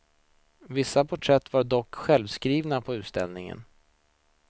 Vissa porträtt var dock självskrivna på utställningen.